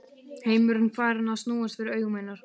Heimurinn farinn að snúast fyrir augum hennar.